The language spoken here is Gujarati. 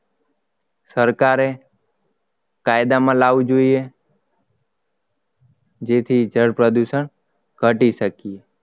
સરકારે કાયદામાં લાવવું જોઈએ જેથી જળ પ્રદૂષણ ઘટી શકે